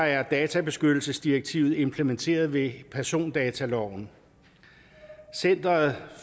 er databeskyttelsesdirektivet jo implementeret ved persondataloven center